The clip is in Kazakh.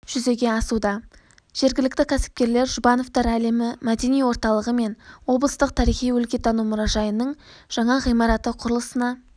жүзеге асуда жергілікті кәсіпкерлер жұбановтар әлемі мәдени орталығы мен облыстық тарихи-өлкетану мұражайының жаңа ғимараты құрылысына